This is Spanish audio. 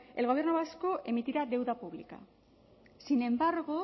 el gobierno vasco emitirá deuda pública sin embargo